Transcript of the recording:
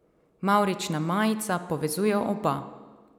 Mavrična majica povezuje oba.